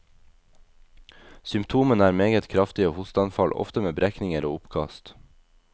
Symptomene er meget kraftige hosteanfall, ofte med brekninger og oppkast.